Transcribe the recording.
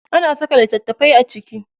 Ana saka littatafai a ciki.